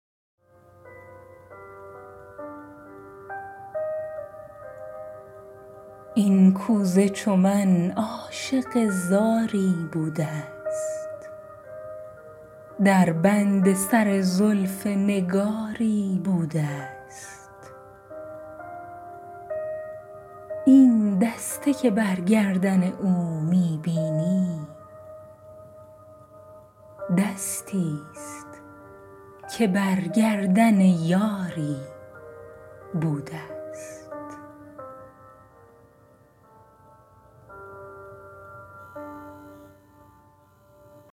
این کوزه چو من عاشق زاری بوده ست در بند سر زلف نگاری بوده ست این دسته که بر گردن او می بینی دستی ست که بر گردن یاری بوده ست